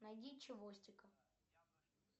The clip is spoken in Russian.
найди чевостика